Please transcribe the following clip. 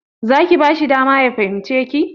Za ki bashi dama ya fahimce ki?